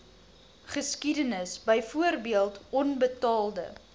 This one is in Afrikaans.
geskiedenis byvoorbeeld onbetaalde